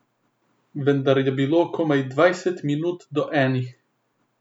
Vendar je bilo komaj dvajset minut do enih.